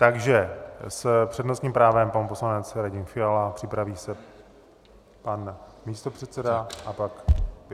Takže s přednostním právem pan poslanec Radim Fiala, připraví se pan místopředseda a pak vy.